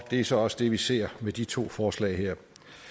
det er så også det vi ser med de to forslag her